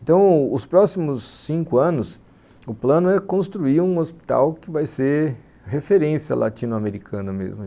Então, os próximos cinco anos, o plano é construir um hospital que vai ser referência latino-americana mesmo.